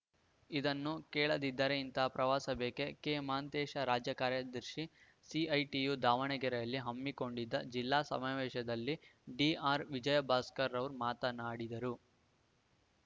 ಇದನ್ನು ಕೇಳದಿದ್ದರೆ ಇಂತಹ ಪ್ರವಾಸ ಬೇಕೆ ಕೆಮಹಾಂತೇಶ ರಾಜ್ಯ ಕಾರ್ಯದರ್ಶಿ ಸಿಐಟಿಯು ದಾವಣಗೆರೆಯಲ್ಲಿ ಹಮ್ಮಿಕೊಂಡಿದ್ದ ಜಿಲ್ಲಾ ಸಮಾವೇಶದಲ್ಲಿ ಡಿಆರ್‌ ವಿಜಯಭಾಸ್ಕರ ಮಾತನಾಡಿದರು